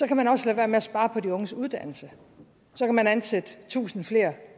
kan man også lade være med at spare på de unges uddannelse så kan man ansætte tusind